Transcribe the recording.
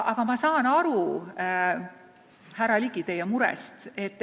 Samas ma saan aru, härra Ligi, teie murest.